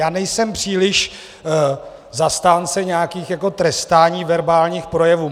Já nejsem příliš zastáncem nějakého trestání verbálních projevů.